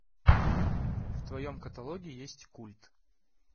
в твоем каталоге есть культ